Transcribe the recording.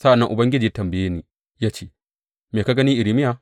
Sa’an nan Ubangiji ya tambaye ni ya ce, Me ka gani, Irmiya?